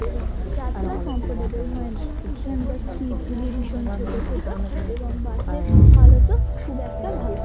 এবং যাত্রা কমফোর্টেবল হয় না। এই খানকার সিট্ গুলি ভীষণ ছোট ছোট এবং বাস এর হলত ও খুব একটা ভালো না।